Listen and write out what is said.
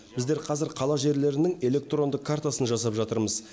біздер қазір қала жерлерінің электронды картасын жасап жатырмыз